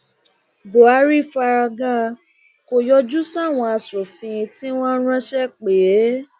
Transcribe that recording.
buhari fárágà kò yọjú sáwọn asòfin tí wọn ránṣẹ pè é